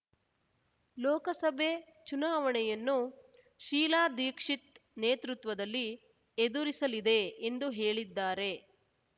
ಲೋಕಸಭೆ ಚುನಾವಣೆಯನ್ನು ಶೀಲಾ ದೀಕ್ಷಿತ್‌ ನೇತೃತ್ವದಲ್ಲಿ ಎದುರಿಸಲಿದೆ ಎಂದು ಹೇಳಿದ್ದಾರೆ